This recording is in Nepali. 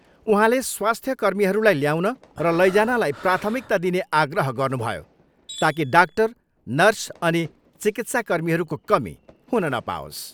उहाँले स्वास्थ्य कर्मीहरूलाई ल्याउन र लैजानलाई प्राथमिकता दिने आग्रह गर्नुभयो ताकि डाक्टर, नर्स अनि चिकित्सा कर्मीहरूको कमी हुन नपाओस्।